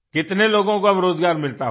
कितने लोगों को अब रोज़गार मिलता होगा